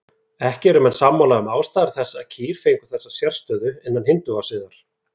Ekki eru menn sammála um ástæður þess að kýr fengu þessa sérstöðu innan hindúasiðar.